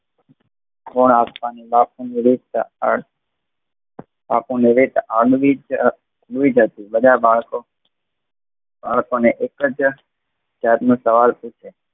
ખૂણા આપવાની બાપુ ની અવણિત અવણિત બાપુની રીત. બધા બાળકો બાળકો ને એક જ સવાલ સુજએ